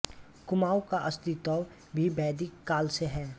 कुमाऊँ का अस्तित्व भी वैदिक काल से है